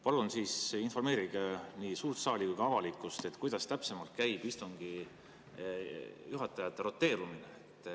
Palun informeerige nii suurt saali kui ka avalikkust, kuidas täpsemalt käib istungi juhatajate roteerumine.